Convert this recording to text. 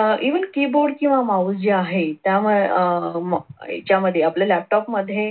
अह even keyboard किंवा mouse जे आहे त्या आह त्याच्यामध्ये आपल्या laptop मध्ये